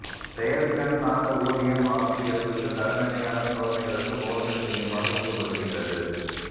செயல்திறன் சார்ந்த ஊதியம் ஆசிரியர்கள் தரநிலையான சோதனைகளுக்கு போதனை செய்யுமாறு ஊக்கப்படுத்துகிறது